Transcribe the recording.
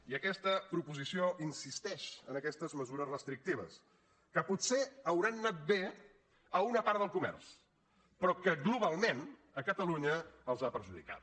i aquesta proposició insisteix en aquestes mesures restrictives que potser deuen haver anat bé a una part del comerç però que globalment a catalunya els ha perjudicat